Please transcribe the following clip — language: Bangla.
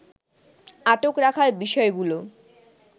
আটক রাখার বিষয়গুলো